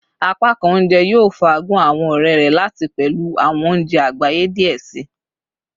Apakan ounjẹ yoo faagun awọn ọrẹ rẹ lati pẹlu awọn ounjẹ agbaye diẹ sii